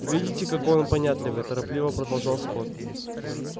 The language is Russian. видите какой он понятливый торопливо продолжал скотт